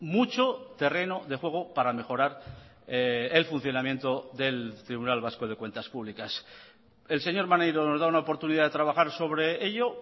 mucho terreno de juego para mejorar el funcionamiento del tribunal vasco de cuentas públicas el señor maneiro nos da una oportunidad de trabajar sobre ello